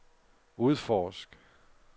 udforsk